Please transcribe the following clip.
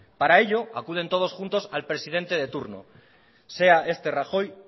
para ello acuden todos juntos al presidente de turno sea este rajoy